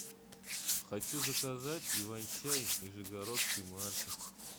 хочу заказать иван чай нижегородской марки